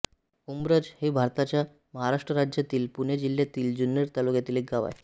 उंब्रज हे भारताच्या महाराष्ट्र राज्यातील पुणे जिल्ह्यातील जुन्नर तालुक्यातील एक गाव आहे